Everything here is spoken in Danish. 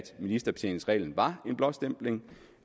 ministerbetjeningsreglen var en blåstempling